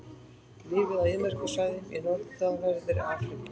Lifir á eyðimerkursvæðum í norðanverðri Afríku.